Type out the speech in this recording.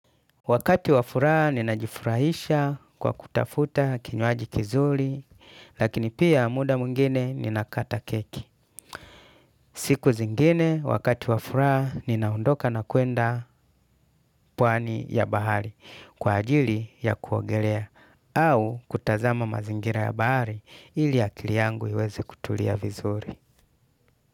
Wakati wafuraha ninajifurahisha kwa kutafuta kinywaji kizuri lakini pia muda mwingine ninakata keki. Siku zingine wakati wafuraha ninaondoka na kuenda pwani ya bahari kwa ajili ya kuogelea au kutazama mazingira ya bahari ili akili yangu iweze kutulia vizuri.